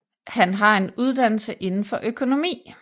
Han har en uddannelse indenfor økonomi